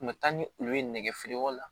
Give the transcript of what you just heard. U kun bɛ taa ni olu ye nɛgɛ feereyɔrɔ la